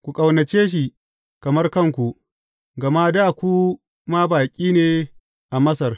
Ku ƙaunace shi kamar kanku, gama dā ku ma baƙi ne a Masar.